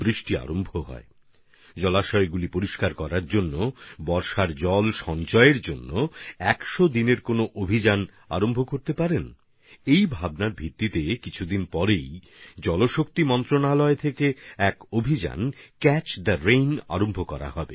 আমরা কি আমাদের আশেপাশের জলের উৎসগুলি পরিষ্কার করার জন্য বর্ষার জল সংরক্ষণের জন্য ১০০ দিনের কোন অভিযান শুরু করতে পারি না এই ভাবনা থেকেই এখন থেকে কয়েকদিন বাদেই জলশক্তিমন্ত্রক থেকেও জলশক্তি অভিযান ক্যাচ দ্য রেইন শুরু হতে যাচ্ছে